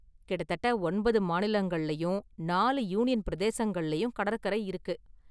கிட்டத்தட்ட ஒன்பது மாநிலங்களிலும், நாலு யூனியன் பிரதேசங்களிலும் கடற்கரை இருக்கு.